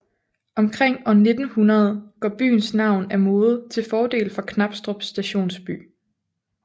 Omkring år 1900 går byens navn af mode til fordel for Knabstrup Stationsby